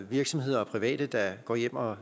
virksomheder og private der går hjem og